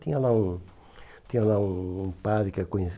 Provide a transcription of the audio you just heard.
Tinha lá um tinha lá um um padre que eu